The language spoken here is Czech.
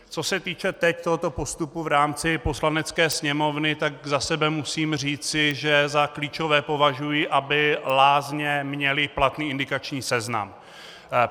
Co se týče teď tohoto postupu v rámci Poslanecké sněmovny, tak za sebe musím říci, že za klíčové považuji, aby lázně měly platný indikační seznam.